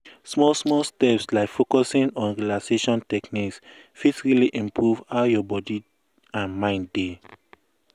small small steps like focusing on relaxation techniques fit really improve how your body and mind dey.